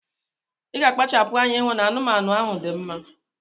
Iga akpachapu anya ihu na anumanu ahu di mma